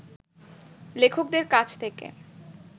লেখকদের কাছ থেকে